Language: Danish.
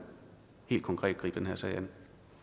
helt konkret gribe den her sag an